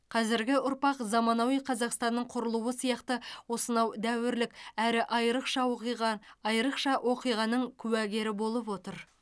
қазіргі ұрпақ заманауи қазақстанның құрылуы сияқты осынау дәуірлік әрі айрықша оқиға айрықша оқиғаның куәгері болып отыр